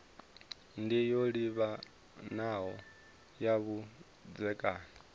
ndi yo livhanaho na vhudzekani